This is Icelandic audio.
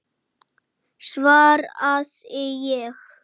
svaraði ég.